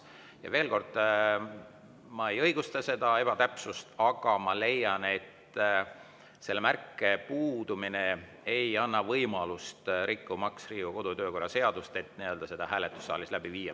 Ja veel kord, ma ei õigusta seda ebatäpsust, aga ma leian, et selle märke puudumine ei anna võimalust rikkuda Riigikogu kodu‑ ja töökorra seadust, et seda hääletust saalis läbi viia.